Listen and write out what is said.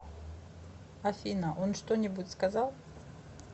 афина он что нибудь сказал